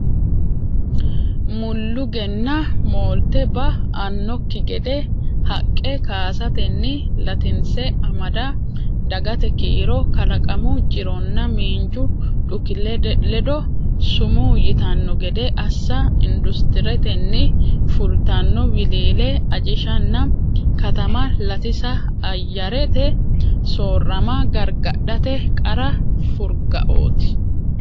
mulluuggenna moolte ba annokki gede haqqe kaasatenni latinse amada dagate kiiro kalaqamu jironna miinju dhuki ledo sumuu yitanno gede assa industuretenni fultanno wiliile ajishanna katamma latisa ayyarete soorrama gargadhate qara furgaote.